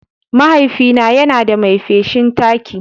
Mahaifina yana da mai feshin taki.